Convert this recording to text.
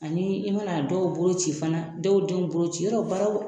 Ani i ma na dɔw bolo ci fana ,dɔw denw bolo ci, yɔrɔ baaraw